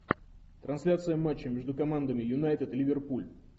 трансляция матча между командами юнайтед ливерпуль